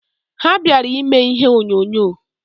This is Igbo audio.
Ha bịara ime ihe onyonyo.